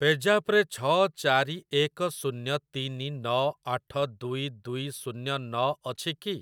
ପେଜାପ୍ ରେ ଛ ଚାରି ଏକ ଶୂନ୍ୟ ତିନି ନ ଆଠ ଦୁଇ ଦୁଇ ଶୂନ୍ୟ ନ ଅଛି କି?